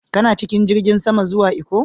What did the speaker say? Kana cikin jirigin sama zuwa Ikko?